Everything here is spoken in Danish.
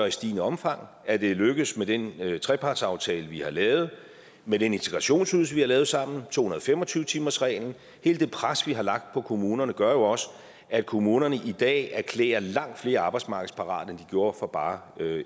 i stigende omfang og at det er lykkedes med den trepartsaftale vi har lavet med den integrationsydelse vi har lavet sammen og to hundrede og fem og tyve timersreglen hele det pres vi har lagt på kommunerne gør jo også at kommunerne i dag erklærer langt flere arbejdsmarkedsparate end de gjorde for bare